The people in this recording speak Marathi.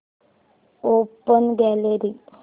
open gallery